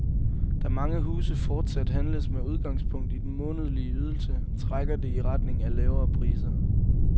Da mange huse fortsat handles med udgangspunkt i den månedlige ydelse, trækker det i retning af lavere priser.